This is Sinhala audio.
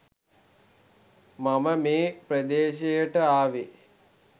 මම මේ ප්‍රදේශයට ආවේ.